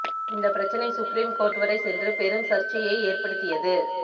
இந்த பிரச்சனை Supreme Court வரை சென்று பெரும் சர்ச்சையை ஏற்படுத்தியது